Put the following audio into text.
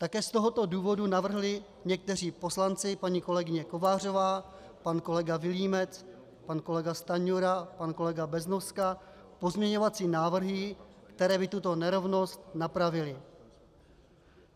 Také z tohoto důvodu navrhli někteří poslanci, paní kolegyně Kovářová, pan kolega Vilímec, pan kolega Stanjura, pan kolega Beznoska, pozměňovací návrhy, které by tuto nerovnost napravily.